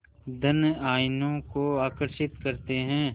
धन आयनों को आकर्षित करते हैं